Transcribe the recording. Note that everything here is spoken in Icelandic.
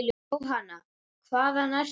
Jóhanna: Hvaðan ertu?